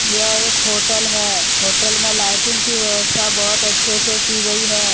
यह एक होटल है होटल में लाइटिंग की व्यवस्था बहुत अच्छे से की गई है।